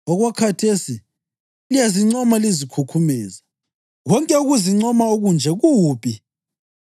Okwakhathesi liyazincoma lizikhukhumeza. Konke ukuzincoma okunje kubi.